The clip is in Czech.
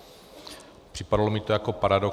Připadalo mi to jako paradox.